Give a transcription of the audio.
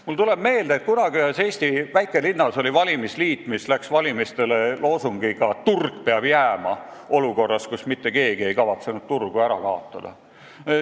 Mulle tuleb meelde, et kunagi oli ühes Eesti väikelinnas valimisliit, mis läks valimistele loosungiga "Turg peab jääma!" olukorras, kus mitte keegi ei kavatsenud turgu ära kaotada.